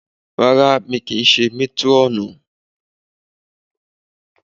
Rárá, mi ò kìí ṣe métrọ́ọ̀nù.